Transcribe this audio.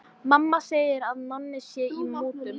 Mamma segir að Nonni sé í mútum.